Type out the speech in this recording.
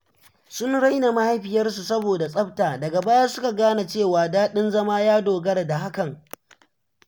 Sun raina mahaifiyarsu saboda tsafta, daga baya suka gane cewa daɗin zama ya dogara da hakan.